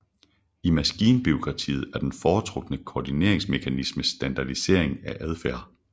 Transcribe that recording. I maskinbureakratiet er den foretrukne koordineringsmekanisme standardisering af adfærd